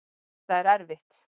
Þetta er erfitt